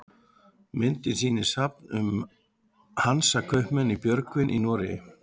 myndin sýnir safn um hansakaupmenn í björgvin í noregi